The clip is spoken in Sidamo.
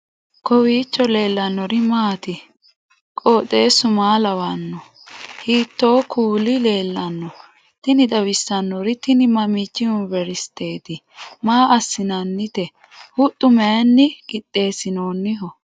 kowiicho leellannori maati ? qooxeessu maa lawaanno ? hiitoo kuuli leellanno ? tini xawissannori tini mammichi yuniveristeti maa assinannite huxxu mayinni qixeessinoonniho